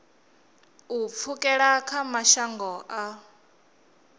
u pfukela kha mashango a